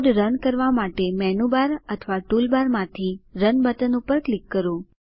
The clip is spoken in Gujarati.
કોડ રન કરવા માટે મેનું બાર અથવા ટૂલ બાર માંથી રન બટન પર ક્લિક કરો